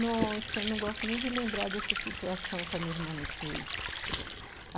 Nossa, eu não gosto nem de lembrar dessa situação que a minha irmã me fez.